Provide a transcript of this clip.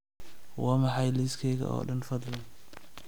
waa maxay liiskayga oo dhan fadlan